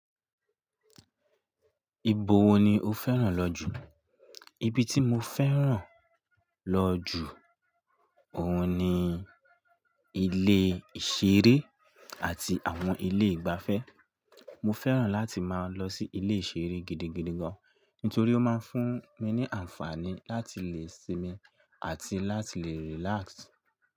Ibo wo ni o fẹ́ràn lọ jù? Ibi tí mo fẹ́ràn lọ jù óun ni ilé ìṣeré àti àwọn ilé ìgbafẹ́. Mo fẹ́ràn láti máa lọ sí ilé ìṣeré gidigidi gan an, nítorí ó máa ń fún mi ní àǹfààní láti lè sinmi àti láti lè relax.